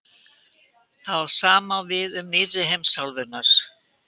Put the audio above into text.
Það sama á við um nýrri heimsálfurnar.